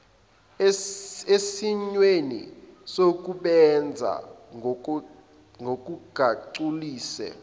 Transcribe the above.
esimweni sokusebenza ngokungagculisi